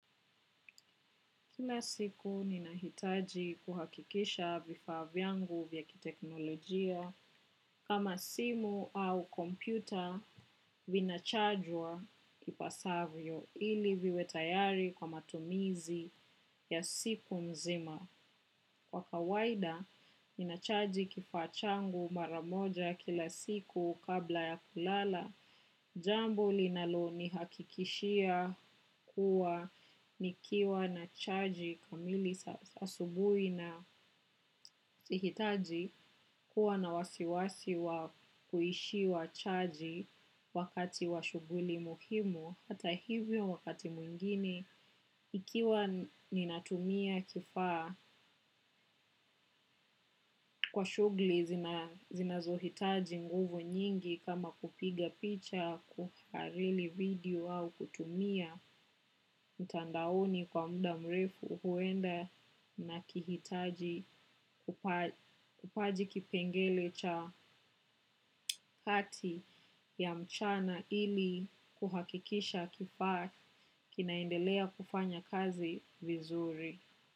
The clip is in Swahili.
Kila siku ninahitaji kuhakikisha vifaa vyangu vya kiteknolojia kama simu au kompyuta vinachajwa ipasavyo ili viwe tayari kwa matumizi ya siku mzima. Kwa kawaida, ninachaji kifaa changu maramoja kila siku kabla ya kulala. Jambo linalonihakikishia kuwa nikiwa na charge kamili asubuhi sihitaji kuwa na wasiwasi wa kuishiwa charge wakati wa shughuli muhimu. Hata hivyo wakati mwingine ikiwa ninatumia kifaa kwa shughuli zinazohitaji nguvu nyingi kama kupiga picha kuharili video au kutumia mtandaoni kwa muda mrefu huenda nakihitaji upaji kipengele cha hati ya mchana ili kuhakikisha kifaa kinaendelea kufanya kazi vizuri.